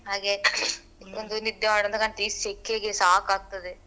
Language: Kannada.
ಹಾಗೆ ಒಂದು ನಿದ್ದೆ ಮಾಡುವ ಅಂತ ಕಾಣ್ತದೆ ಈ ಸೆಖೆಗೆ ಸಾಕ್ ಆಗ್ತದೆ.